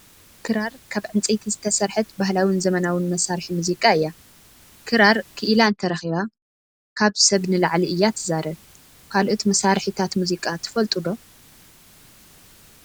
ክራር ካብ ዕንፀይቲ ዝተሰርሐት ባህላውን ዘመናውን መሳሪሒ ሙዚቃ እያ። ክራር ኪኢላ እንረኪባ ካብ ሰብ ንላዕሊ እያ ትዛብ ። ካልኦት መሳሪሒታት ሙዚቃ ትፈልጡ ዶ ?